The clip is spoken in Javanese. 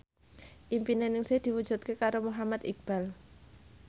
impine Ningsih diwujudke karo Muhammad Iqbal